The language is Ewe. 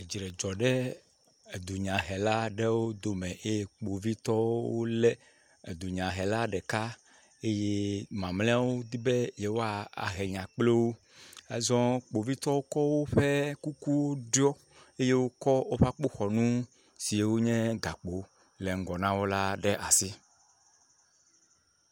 Dzre dzɔ ɖe dunyahela aɖewo dome eye kpovitɔwo le edunyahela ɖeka eye mamleawo di be